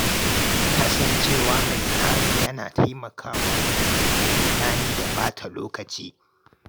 Kasancewa mai tsari yana taimakawa wajen rage ruɗani da ɓata lokaci.